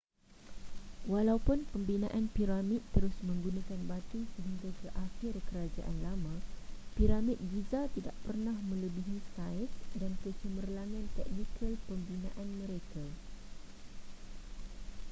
walaupun pembinaan piramid terus menggunakan batu sehingga ke akhir kerajaan lama piramid giza tidak pernah melebihi saiz dan kecemerlangan teknikal pembinaan mereka